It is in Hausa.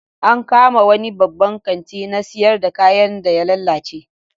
An kama wani babban kanti na siyar da kayan da ya lalace